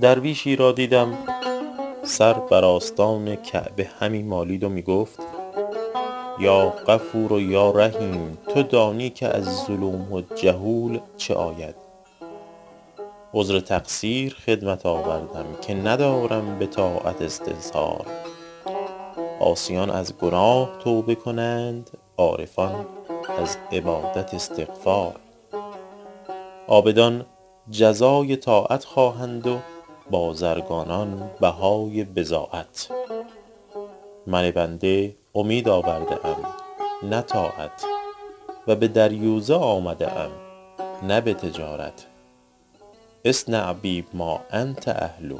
درویشی را دیدم سر بر آستان کعبه همی مالید و می گفت یا غفور یا رحیم تو دانی که از ظلوم جهول چه آید عذر تقصیر خدمت آوردم که ندارم به طاعت استظهار عاصیان از گناه توبه کنند عارفان از عبادت استغفار عابدان جزای طاعت خواهند و بازرگانان بهای بضاعت من بنده امید آورده ام نه طاعت و به دریوزه آمده ام نه به تجارت اصنع بی ما انت اهله